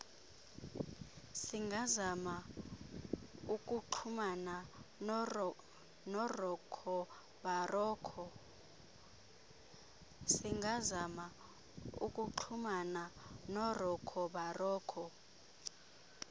singazama ukuxhumana noroccobarocco